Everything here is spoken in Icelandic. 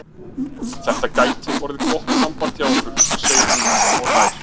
Þetta gæti orðið gott samband hjá okkur, segir hún og hlær.